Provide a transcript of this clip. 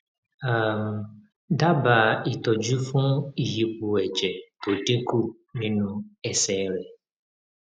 um dábàá ìtọjú fún ìyípo ẹjẹ tó dínkù nínú ẹsẹ rẹ